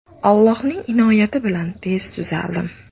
Allohning inoyati bilan tez tuzaldim.